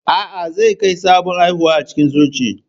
A'a, zai ga sabon haihuwa a cikin Church.